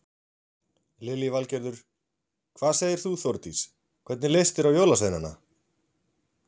Lillý Valgerður: Hvað segir þú Þórdís, hvernig leist þér á jólasveinana?